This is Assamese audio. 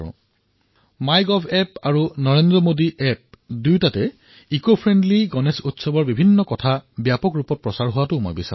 মই বিচাৰিম যে মাই গভতো আৰু নৰেন্দ্ৰ মোদী এপতো পৰিৱেশ অনুকূল গণেশ উৎসৱ পালনৰ ব্যাপক প্ৰচাৰ হওক